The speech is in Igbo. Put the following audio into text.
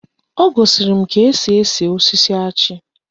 O gosiri m ka esi ese osisi achị